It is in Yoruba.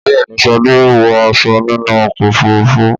Bẹ́ẹ̀ ni, Sade wọ aṣọ nínú ọkọ̀ òfurufú.